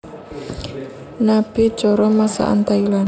Nabe cara masakan Thailand